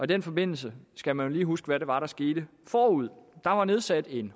den forbindelse skal man lige huske hvad der var sket forud der var nedsat en